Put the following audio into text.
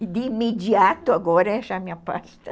E de imediato agora é achar minha pasta